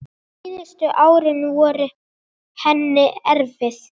Síðustu árin voru henni erfið.